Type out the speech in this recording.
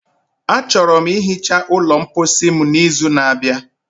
Achọrọ m ihicha ụlọ mposi m n'izu n'abịa.